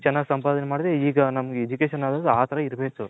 ಈಗ ಚೆನ್ನಾಗಿ ಸಂಪಾದನೆ ಮಾಡುದ್ರೆ ಈಗ Education ಅನ್ನೋದು ಆ ತರ ಇರ್ಬೇಕು.